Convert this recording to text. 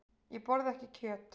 Ég borða ekki kjöt.